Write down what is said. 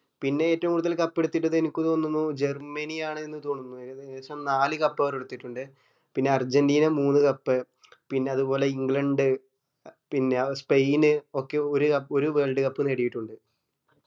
പിന്നെ ഏറ്റവും കൂടുതൽ cup എട്ത്തിറ്റിള്ളത് അനക്ക് തോന്നുന്ന് ജർമനി ആണ് എന്ന് തോന്നുന്നു ഏകദേശം നാല് cup അവർ എടുത്തിറ്റുണ്ട് പിന്ന അർജന്റീന മൂന്നു cup പിന്നെ അത്പോലെ ഇന്ഗ്ലണ്ട് ആഹ് പിന്നെ സ്പെയിന് ഒക്കെ ഒരു ക ഒരു wold cup നേടിയിട്ടുണ്ട്